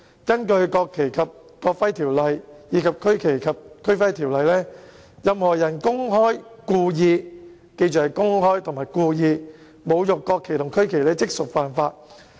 根據《國旗及國徽條例》和《區旗及區徽條例》，任何人公開及故意——請記着是公開及故意——侮辱國旗或區旗，即屬犯法。